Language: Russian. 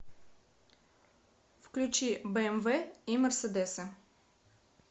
включи бмв и мерседесы